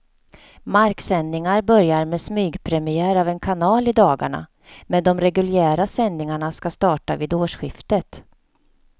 Marksändningar börjar med smygpremiär av en kanal i dagarna, men de reguljära sändningarna ska starta vid årsskiftet.